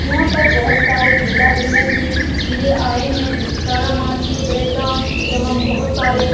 यहां पर बहुत सारे झूला झूलने के लिए आए है तारामाची ब्रेकडांस एवं बहुत सारे --